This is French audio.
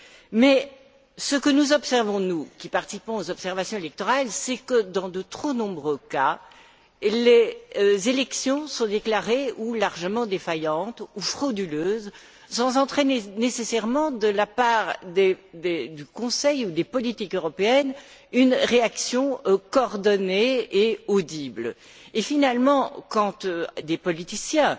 Mais ce que nous constatons, nous qui participons aux observations électorales, c'est que, dans de trop nombreux cas, les élections sont déclarées largement défaillantes ou frauduleuses, sans entraîner nécessairement, de la part du Conseil ou des politiques européennes, une réaction coordonnée et audible. Et finalement, quand des politiciens